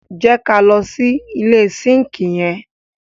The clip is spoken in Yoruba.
Jẹ ká lọ sí ilẹ̀ sínkì yẹn.